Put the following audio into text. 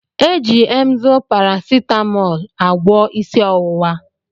Eji Emzú paracetamôôlu agwo isi owuwa.